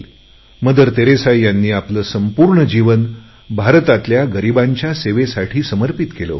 mother Teresa यांनी आपले संपूर्ण जीवन भारतातल्या गरीबांच्या सेवेसाठी समर्पित केले होते